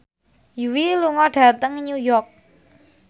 Yui lunga dhateng New York